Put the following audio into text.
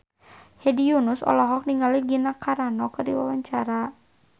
Hedi Yunus olohok ningali Gina Carano keur diwawancara